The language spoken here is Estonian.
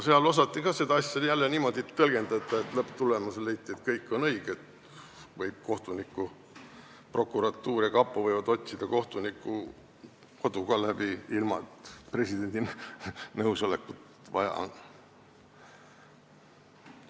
Seal osati seda asja jälle niimoodi tõlgendada, et lõpptulemusena leiti, et kõik on õige, prokuratuur ja kapo võivad kohtuniku kodu läbi otsida, ilma et presidendi nõusolekut vaja oleks.